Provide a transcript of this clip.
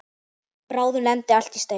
Bráðum lendir allt í steik.